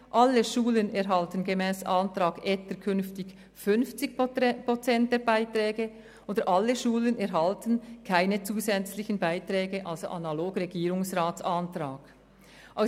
zweitens: alle Schulen erhalten gemäss Antrag Etter künftig 50 Prozent der Beiträge, oder alle Schulen erhalten – analog dem Antrag des Regierungsrats – keine zusätzlichen Beiträge mehr.